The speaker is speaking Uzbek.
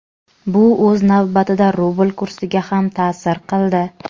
Bu o‘z navbatida rubl kursiga ham ta’sir qildi.